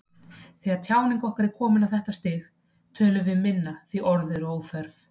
Þegar tjáning okkar er komin á þetta stig tölum við minna því orð eru óþörf.